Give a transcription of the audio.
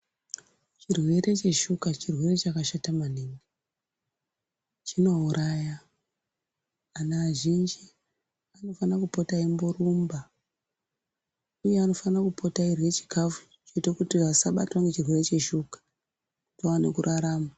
Chirwere cheshuka chirwere chakashata maningi, chinouraya. Anhu azhinji anofana kupota eimborumba, uye anofana kupota eirye chikhafu chinoite kuti vasabatwa nechirwere cheshuka, vaone kurarama.